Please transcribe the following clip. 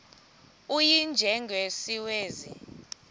u y njengesiwezi